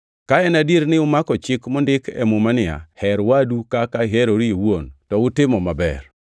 Ka en adier ni umako chik mondik e Muma niya, “Her wadu kaka iherori iwuon,” + 2:8 \+xt Lawi 19:18\+xt* to utimo maber.